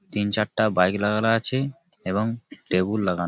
তিন চারটা বইক লাগানো আছে এবং লেবু লাগানো।